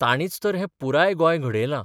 तांणीच तर हें पुराय गोंय घडयलां.